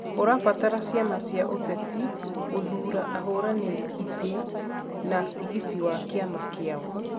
ũrabatara ciama cia ũteti gũthuura ahũranĩri itĩ na tigiti wa kĩama kiao,